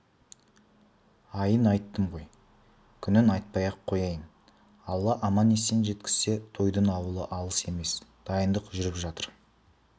айын айттым ғой күнін айтпай-ақ қояйын алла аман жеткізсе тойдың ауылы алыс емес дайындық жүріп жатыр